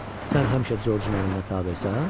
Sən həmişə Corcun əmrinə tabesən?